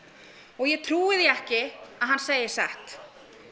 og ég trúi því ekki að hann segi satt